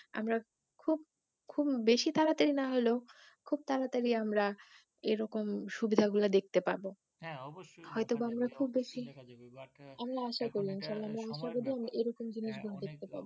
আমরা খুব খুব বেশি তাড়াতাড়ি না হলেও খুব তাড়াতাড়ি আমরা সুবিধা গুলা দেখতে পাবো হাঁ অবশ্যই হয়তো বা আমরা খুব বেশি বাট এখন ই আমরা আশা করছি এরকম জিনিসগুলা